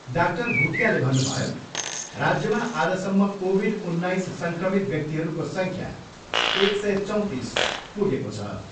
Doctor भुटियाले भन्नुभयो, राज्यमा आजसम्म कोभिड उन्नाइस सङ्क्रमित व्यक्तिहरूको सङ्ख्या एक सय चौँतिस पुगेको छ।